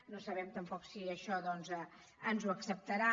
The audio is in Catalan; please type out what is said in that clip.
no sabem tampoc si això doncs ens ho acceptarà